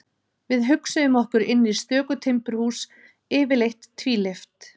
Við hugsuðum okkur inn í stöku timburhús, yfirleitt tvílyft.